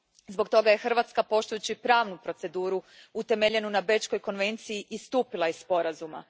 Zbog toga je Hrvatska poštujući pravnu proceduru utemeljenu na Bečkoj konvenciji istupila iz Sporazuma.